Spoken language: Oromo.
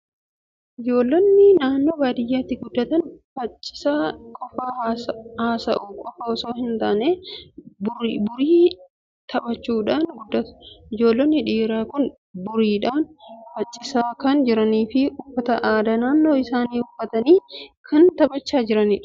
Ijoollonni naannoo baadiyyaatti guddatan faccisa qofaa haasa'uu qofaa osoo hin taane burii taphachuudhaan guddatu. Ijoollonni dhiiraa kun buriidhaan faccisaa kan jiranii fi uffata aadaa naannoo isaanii uffatanii kan taphachaa jiranidha.